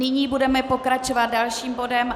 Nyní budeme pokračovat dalším bodem.